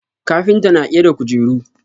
Kafinta na ƙera kujeru.